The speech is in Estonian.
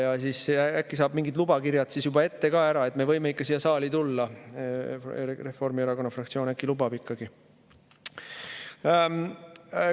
Äkki saab siis juba ette kätte mingid lubakirjad, et me võime ikka siia saali tulla, Reformierakonna fraktsioon äkki lubab ikkagi.